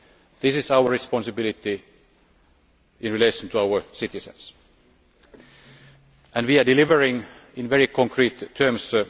This is our responsibility in relation to our citizens, and we are delivering in very concrete terms.